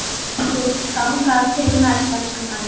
Þangað til næst, elsku frændi.